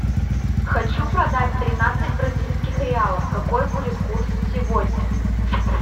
хочу продать тринадцать бразильских реалов какой будет курс сегодня